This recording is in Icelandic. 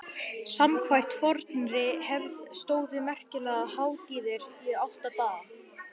Samkvæmt fornri hefð stóðu merkilegar hátíðir í átta daga.